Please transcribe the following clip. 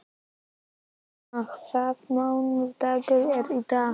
Írena, hvaða mánaðardagur er í dag?